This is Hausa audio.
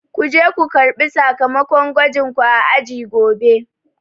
Kuje ko karɓi sakamakon gwajin ku a aji gobe